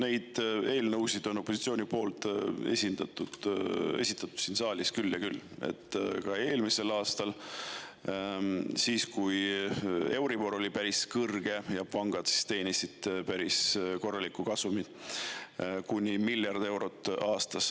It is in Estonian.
Neid eelnõusid on opositsioon esitanud siin saalis küll ja küll, esitati ka eelmisel aastal, siis, kui euribor oli päris kõrge ja pangad teenisid päris korralikku kasumit, kuni miljard eurot aastas.